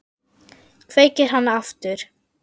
Kveikir hana aftur.